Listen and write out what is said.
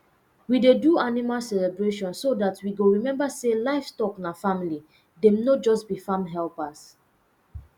we dey do animal celebration so that we go remember say livestock na family dem no be just farm helpers